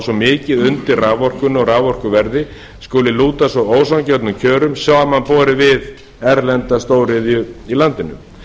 svo mikið undir raforkunni og raforkuverði skuli lúta svo ósanngjörnum kjörum samanborið við erlenda stóriðju í landinu